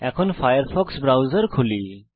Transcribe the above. এখন Firefox browser খুলি